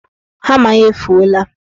Hama ya efuola.